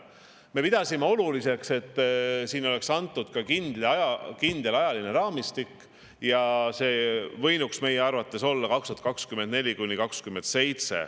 Me pidasime oluliseks, et oleks antud kindel ajaline raamistik, see võinuks meie arvates olla 2024–2027.